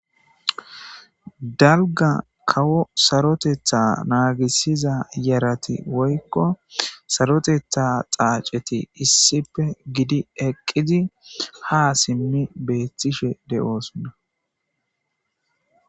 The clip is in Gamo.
dalga kawo sarotetha naagisiza yarati woykko sarotetha dhaaceti issipe gidi eqqizi ha simmi beettishe de'osonna